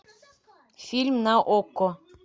фильм на окко